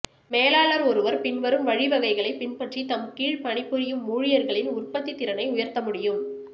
மேலாளர் ஒருவர் பின்வரும் வழிவகைகளை பின்பற்றி தம்கீழ் பணிபுரியும் ஊழியர்களின் உற்பத்திதிறனை உயர்த்தமுடியும்